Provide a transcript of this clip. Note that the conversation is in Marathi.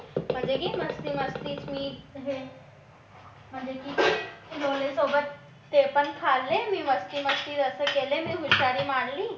म्हणजे की मस्ती मस्ती मी म्हणजे की लोला सोबत ते पण खाल्ले मस्ती मस्ती केले असे केले मी हुशारी मांडली